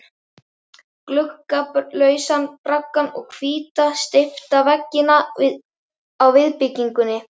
Gluggalausan braggann og hvíta, steypta veggina á viðbyggingunni.